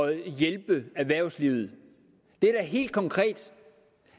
at hjælpe erhvervslivet det er da helt konkret